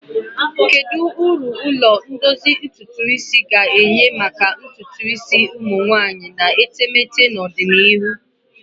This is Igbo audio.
Kedu uru ụlọ ndozi ntutu isi ga-enye maka ntutu isi ụmụ nwanyị na etemeete n'ọdịnihu?